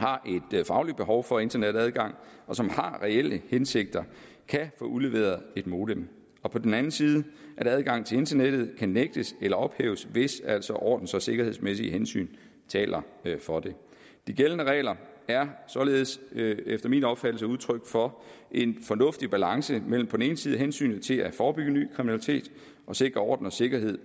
har et fagligt behov for internetadgang og som har reelle hensigter kan få udleveret et modem og på den anden side at adgangen til internettet kan nægtes eller ophæves hvis altså ordens og sikkerhedsmæssige hensyn taler for det de gældende regler er således efter min opfattelse udtryk for en fornuftig balance mellem på den ene side hensynet til at forebygge ny kriminalitet og sikre orden og sikkerhed